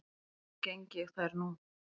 Þó geng ég þær nú